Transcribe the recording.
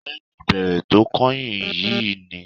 Lẹ́yìn ìbéèrè tó kányìn yìí ni